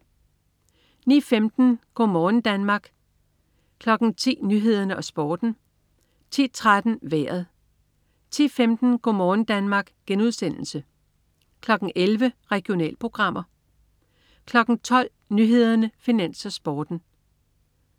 09.15 Go' morgen Danmark* (man-fre) 10.00 Nyhederne og Sporten (man-fre) 10.13 Vejret (man-fre) 10.15 Go' morgen Danmark* (man-fre) 11.00 Regionalprogrammer (man-fre) 12.00 Nyhederne, Finans, Sporten (man-fre)